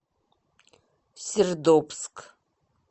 сердобск